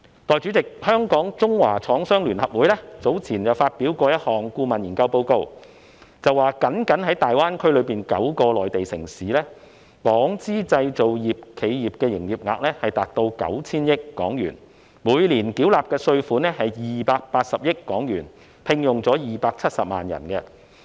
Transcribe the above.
代理主席，香港中華廠商聯合會早前發表了一份顧問研究報告，該報告指，僅僅大灣區內9個內地城市的港資製造業企業，它們的營業額已達到 9,000 億港元，每年繳納的稅款是280億港元，而且，它們聘用了270萬人。